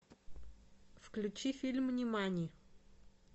включи фильм нимани